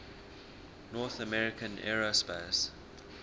north american aerospace